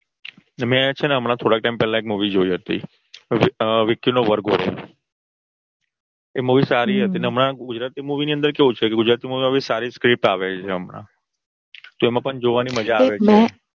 મેં છે ને થોડા time પેલા એક Movie જોઈ હતી વિકી નો વર્ગોડો. એ Movie સારી હતી અને હમણાં ગુજરાતી Movie ની અંદર એવું છે ને સારી Script આવે છે હમણાં તો એમાં પણ જોવાની મજા આવે છે